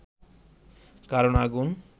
কারণ আগুন